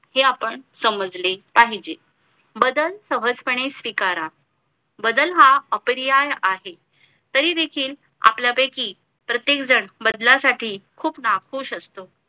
हे आपण समजले पाहिजे बदल सहज पणे स्वीकार बदल हा अपरियाय आहे तरी देखील आपल्या पैकी प्रत्येक जण बदला साठी खूप नाखुश असतो